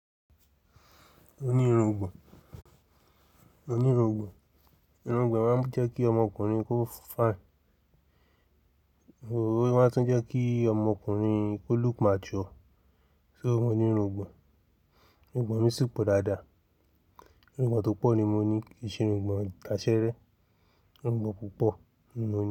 Moní irungbọ̀n. Moní irungbọ̀n. Irungbọ̀n máa ń jẹ́ kí ọmọkùnrin kó fine. O máa ń tún jẹ́ kí ọmọkùnrin kó look matured. So mo ní irungbọ̀n, irungbọ̀n mi sì pọ̀ dáadáa. Irungbọ̀n tó pọ̀ ni mo ní. Kì í ṣe irungbọ̀n ìtaṣeẹ́rẹ́, irungbọ̀n púpọ̀ ni mo ní.